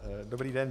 Dobrý den.